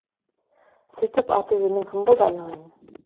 сөйтіп аты жөнің кім болды айналайын